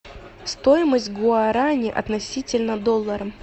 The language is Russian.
стоимость гуарани относительно доллара